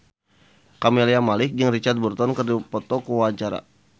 Camelia Malik jeung Richard Burton keur dipoto ku wartawan